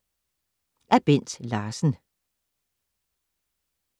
Af Bent Larsen